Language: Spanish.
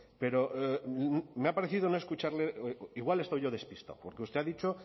pero no me ha parecido escucharle igual estoy yo despistado porque usted ha dicho